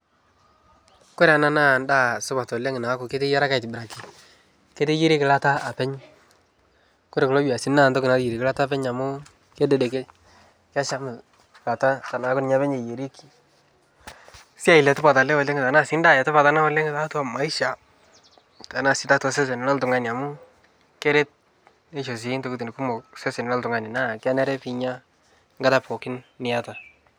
Kore naa ndaa supat oleng' naaku keteyieraki aitibiraki. Keteyieraki ilata apeny, kore kulo biasini naa ntoki nayerie ilata apeny amu kededekei, kesham eilata tenaaku ninye apeny eyerieki. Siai letipat ele oleng' tenaa sii ndaa letipat oleng' tiatua maisha tenasidai tiatua sesen loltung'ani amu keret neisho sii ntokitin kumok sesen loltung'ani naa kenare piinya nkata pookin niata.